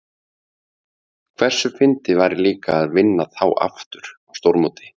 Hversu fyndið væri líka að vinna þá aftur á stórmóti?